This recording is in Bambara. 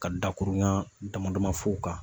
Ka da kurun dama dama f'u kan